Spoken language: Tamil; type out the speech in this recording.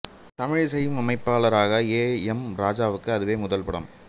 தமிழில் இசையமைப்பாளராக ஏ எம் ராஜாவுக்கும் அதுவே முதல் படம்